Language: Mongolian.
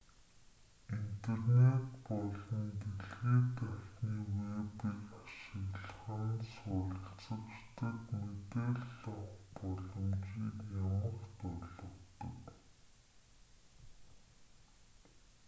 интернет болон дэлхий дахины вэбийг ашиглах нь суралцагчдад мэдээлэл авах боломжийг ямагт олгодог